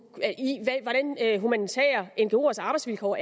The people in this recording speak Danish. have i humanitære ngoers arbejdsvilkår